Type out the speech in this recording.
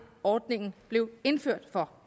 ordningen blev indført for